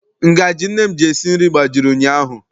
Ngajị nne m ji esi nri gbajiri ụnyaahụ.